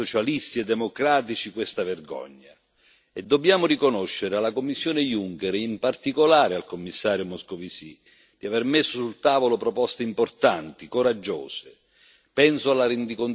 Abbiamo denunciato come socialisti e democratici questa vergogna e dobbiamo riconoscere alla Commissione Juncker e in particolare al Commissario Moscovici di aver messo sul tavolo proposte importanti e coraggiose.